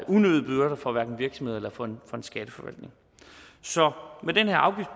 unødige byrder for hverken virksomheder eller for skatteforvaltning så med den her